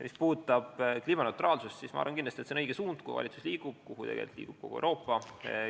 Mis puudutab kliimaneutraalsust, siis ma arvan kindlasti, et see on õige suund, kuhu valitsus liigub ja kuhu liigub kogu Euroopa.